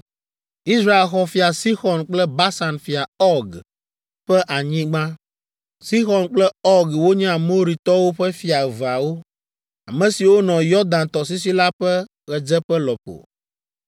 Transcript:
Israel xɔ Fia Sixɔn kple Basan fia Ɔg ƒe anyigba. Sixɔn kple Ɔg wonye Amoritɔwo ƒe fia eveawo, ame siwo nɔ Yɔdan tɔsisi la ƒe ɣedzeƒe lɔƒo.